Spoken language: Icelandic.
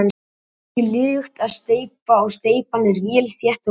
Gengur liðugt að steypa og steypan er vel þétt og góð.